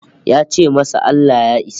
Ya ce masa Allah Ya isa